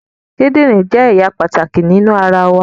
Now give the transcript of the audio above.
The kidney is a very important part of our body